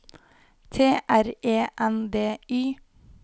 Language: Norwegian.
T R E N D Y